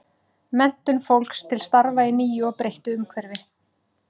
Menntun fólks til starfa í nýju og breyttu umhverfi.